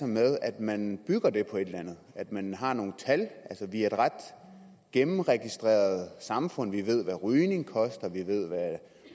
med at man bygger det på et eller andet at man har nogle tal vi er et ret gennemregistreret samfund vi ved hvad rygning koster vi ved